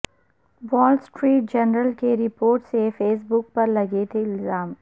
وال Street Journal کی report سے فیس بک پر لگے تھے الزام